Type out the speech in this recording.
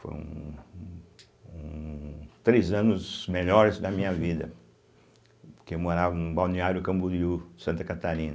Foram um três anos melhores da minha vida, porque eu morava no balneário Camboriú, Santa Catarina.